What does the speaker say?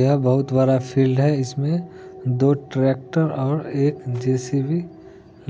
य बहुत बड़ा फील्ड है इसमें दो ट्रैक्टर और एक जे_सी_बी